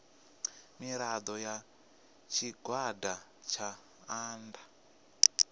mirado ya tshigwada tsha nnda